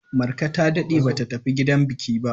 Marka ta daɗe ba ta tafi gidan biki ba.